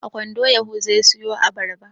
A kwando yahuza ya sayo abarba.